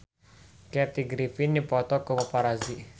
Kathy Griffin dipoto ku paparazi